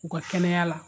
U ka kɛnɛya la